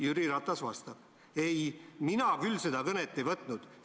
" Jüri Ratas vastab: "Ei, mina küll seda kõnet ei võtnud.